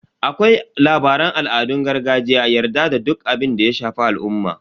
Akwai labaran al'adun gargajiya, yarda da duk abinda ya shafi al'umma.